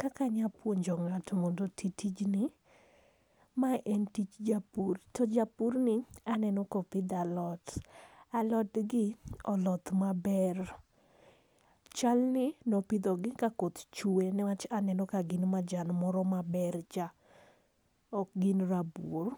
Kaka anya puonjo ngato mondo oti tij ni, ma en tij japur to japur ni aneno ka opidho alot. alot ni oloth ma ber chal ni ne opidho gi ka koth chwe ne wach aneno ka gin majan moro ma ber cha ok gin rabuor.